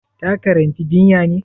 Ta karanci jinya ne?